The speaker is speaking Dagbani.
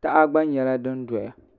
taha gba nyɛla din doyaEdit (Resolution)